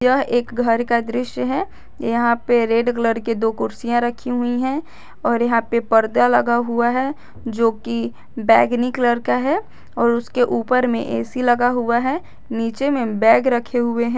यह एक घर का दृश्य है यहां पे रेड कलर के दो कुर्सियां रखी हुई हैं और यहां पे पर्दा लगा हुआ है जो कि बैंगनी कलर का है और उसके ऊपर में ए_सी लगा हुआ है नीचे में बैग रखे हुए हैं।